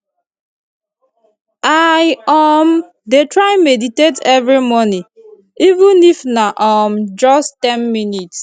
i um dey try meditate every morning even if na um just ten minutes